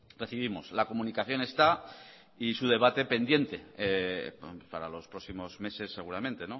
recibimos la comunicación está y su debate pendiente para los próximos meses seguramente